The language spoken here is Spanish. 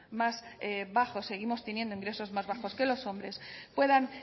más bajos seguimos teniendo ingresos más bajos que los hombres puedan